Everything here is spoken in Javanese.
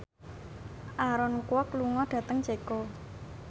Aaron Kwok lunga dhateng Ceko